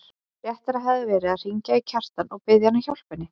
Réttara hefði verið að hringja í Kjartan og biðja hann að hjálpa henni.